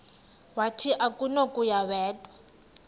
wathi akunakuya wedw